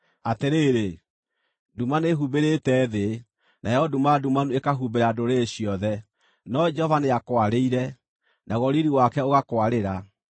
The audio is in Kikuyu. Atĩrĩrĩ, nduma nĩĩhumbĩrĩte thĩ, nayo nduma ndumanu ĩkahumbĩra ndũrĩrĩ ciothe, no Jehova nĩakwarĩire, naguo riiri wake ũgakwarĩra.